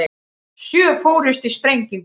Sjö fórust í sprengingu